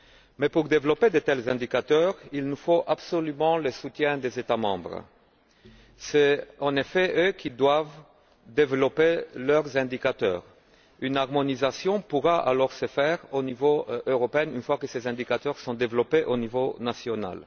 Mais, pour développer de tels indicateurs, il nous faut absolument le soutien des États membres. Ce sont eux, en effet, qui doivent développer leurs indicateurs. Une harmonisation pourra alors se faire au niveau européen, une fois que ces indicateurs seront développés au niveau national.